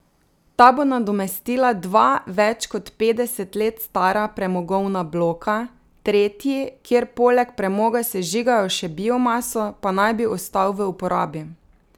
Ta bo nadomestila dva več kot petdeset let stara premogovna bloka, tretji, kjer poleg premoga sežigajo še biomaso, pa naj bi ostal v uporabi.